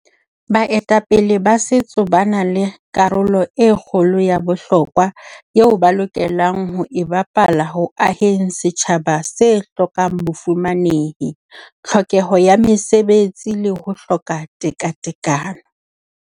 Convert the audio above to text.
Baetapele sa Setso ba na le karolo e kgolo ya bohlokwa eo ba lokelang ho e bapala ho aheng setjhaba se hlokang bofumanehi, tlhokeho ya mesebetsi le ho hloka tekatekano.